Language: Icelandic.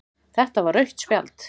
Þetta var rautt spjald